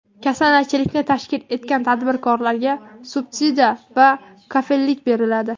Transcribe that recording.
Kasanachilikni tashkil etgan tadbirkorlarga subsidiya va kafillik beriladi.